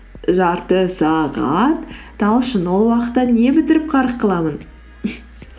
жарты сағат талшын ол уақытта не бітіріп қарық қыламын